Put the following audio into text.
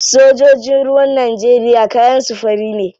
Sojojin ruwan Najeriya kayan su fari ne.